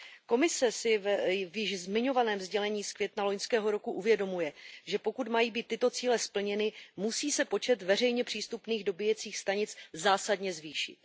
Komise si v již zmiňovaném sdělení z května loňského roku uvědomuje, že pokud mají být tyto cíle splněny, musí se počet veřejně přístupných dobíjecích stanic zásadně zvýšit.